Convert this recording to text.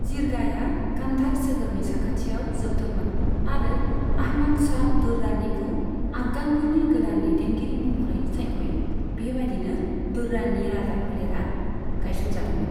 जिरगाया कान्धार सोहोरनि साखाथियाव जोबदोंमोन आरो आहमद शाह दुर्रानीखौ आफगानफोरनि गोदान दैदेनगिरि महरै सायख'यो, बेबादिनो दुर्रानि राजाफोलेरा गायसनजादोंमोन।